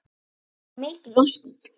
Já, mikil ósköp.